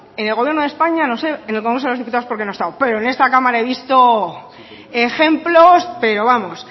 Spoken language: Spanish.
en el gobierno de españa no sé pero en el congreso de los diputados porque no he estado pero en esta cámara he visto ejemplos pero vamos